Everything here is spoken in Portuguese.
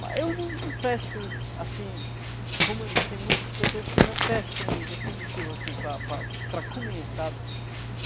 Mas eu não não pesco, assim, como tem muitas pessoas que já pescam ele definitivo, assim, para para para comer, sabe?